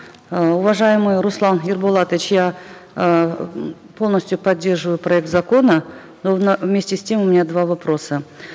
э уважаемый руслан ерболатович я эээ м полностью поддерживаю проект закона но вместе с тем у меня два вопроса